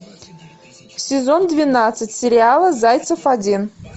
сезон двенадцать сериала зайцев один